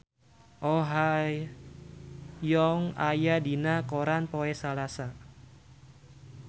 Oh Ha Young aya dina koran poe Salasa